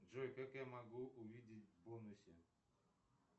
джой как я могу увидеть бонусы